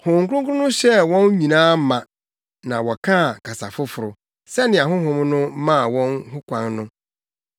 Honhom Kronkron no hyɛɛ wɔn nyinaa ma, na wɔkaa kasa foforo, sɛnea Honhom no maa wɔn ho kwan no.